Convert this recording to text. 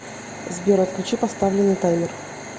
сбер отключи поставленный таймер